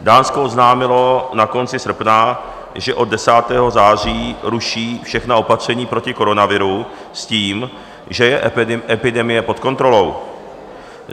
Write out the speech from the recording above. Dánsko oznámilo na konci srpna, že od 10. září ruší všechna opatření proti koronaviru s tím, že je epidemie pod kontrolou.